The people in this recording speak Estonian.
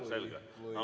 Aa, lisaaega, selge.